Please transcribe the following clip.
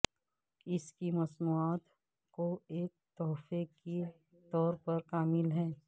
اس کی مصنوعات کو ایک تحفہ کے طور پر کامل ہے